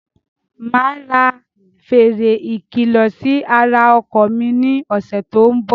Máa ra fèrè ikilọ sì ara ọkọ̀ mi ni ọ̀sẹ̀ tòun bọ̀.